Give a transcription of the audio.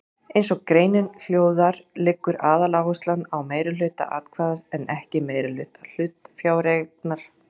Eins og greinin hljóðar liggur aðaláherslan á meirihluta atkvæða en ekki meirihluta hlutafjáreignar.